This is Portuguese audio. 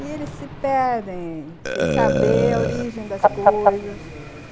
E eles se perdem, sem saber a origem das coisas...